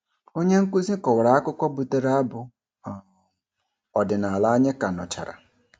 Onyenkụzi kọwara akụkọ butere abụ um ọdịnala anyị ka nụchara.